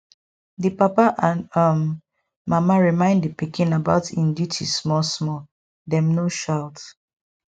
di papa and um mama remind di pikin about im duty small small dem no shout